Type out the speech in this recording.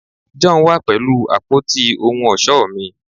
John wa pẹlu apoti ohun ọṣọ mi